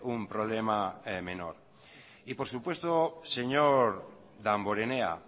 un problema menor y por supuesto señor damborenea